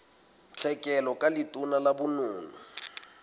tlhekelo ka letona la bonono